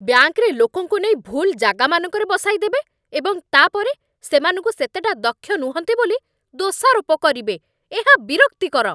ବ୍ୟାଙ୍କରେ ଲୋକଙ୍କୁ ନେଇ ଭୁଲ୍ ଜାଗାମାନଙ୍କରେ ବସାଇଦେବେ ଏବଂ ତା'ପରେ ସେମାନଙ୍କୁ ସେତେଟା ଦକ୍ଷ ନୁହଁନ୍ତି ବୋଲି ଦୋଷାରୋପ କରିବେ, ଏହା ବିରକ୍ତିକର।